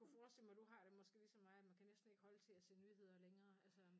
Kunne forestille mig du har det måske ligesom mig at man kan næsten ikke holde til at se nyheder længere altså